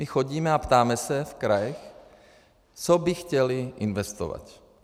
My chodíme a ptáme se v krajích, co by chtěly investovat.